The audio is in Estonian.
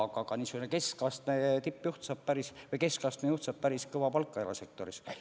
Aga niisugune keskastme juht saab päris kõva palka erasektoris.